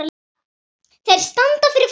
Þeir standa fyrir framan hana.